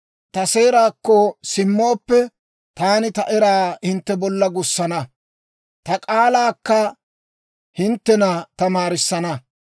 Ta seeraakko simmooppe; taani ta eraa hintte bolla gussana; ta k'aalaakka hinttena tamaarissana.